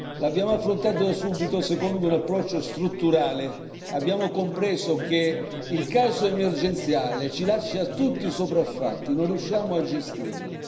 L'abbiamo affrontato da subito secondo un approccio strutturale, abbiamo compreso che il caso emergenziale ci lascia tutti sopraffatti, non riusciamo a gestirlo.